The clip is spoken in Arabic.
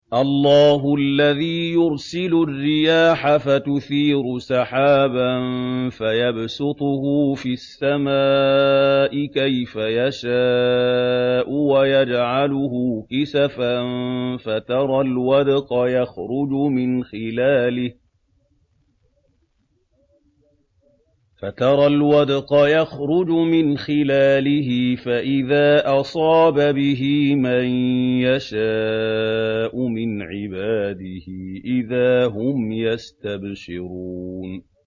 اللَّهُ الَّذِي يُرْسِلُ الرِّيَاحَ فَتُثِيرُ سَحَابًا فَيَبْسُطُهُ فِي السَّمَاءِ كَيْفَ يَشَاءُ وَيَجْعَلُهُ كِسَفًا فَتَرَى الْوَدْقَ يَخْرُجُ مِنْ خِلَالِهِ ۖ فَإِذَا أَصَابَ بِهِ مَن يَشَاءُ مِنْ عِبَادِهِ إِذَا هُمْ يَسْتَبْشِرُونَ